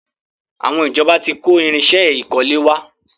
Àwọn ìjọba tí kó irinsẹ́ ìkọ́lé wa.